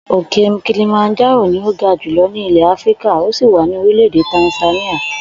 Òkè kilimanjárò ni ó ga jùlo̩ ní ilè̩ Áfíríkà ó sì wà ní orílè̩-èdè Tàǹsáníà